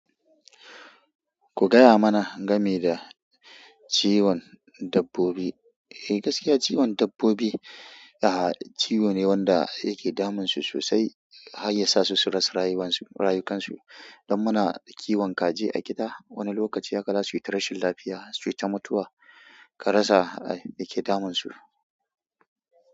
Ku gaya mana game da ciwon dabbobi. Eh gaskiya ciwon dabbobi, aha ciwo ne wanda yake damun su sosai har yasa su rasa rayukansu. Don muna kiwon kaji a gida, wani lokaci haka zasu yi ta rashin lafiya, su yi ta mutuwa ka rasa me ke damun su.